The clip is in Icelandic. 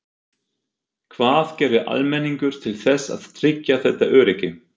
Hvað gerir almenningur til þess að tryggja þetta öryggi?